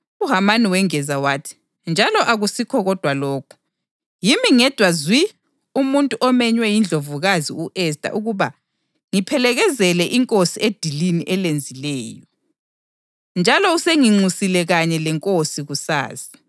UHamani wengeza wathi, “Njalo akusikho kodwa lokhu. Yimi ngedwa zwi umuntu omenywe yiNdlovukazi u-Esta ukuba ngiphelekezele inkosi edilini elenzileyo. Njalo usenginxusile kanye lenkosi kusasa.